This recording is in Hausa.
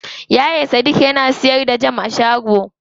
Yaya sadik yana siyar da jam a shago.